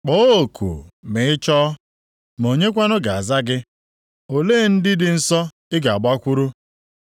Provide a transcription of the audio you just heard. “Kpọọ oku ma ị chọọ, ma onyekwanụ ga-aza gị? Ole ndị dị nsọ ị ga-agbakwuru?